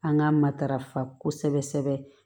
An ka matarafa kosɛbɛ kosɛbɛ